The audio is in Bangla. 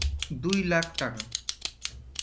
দুই লাখ টাকা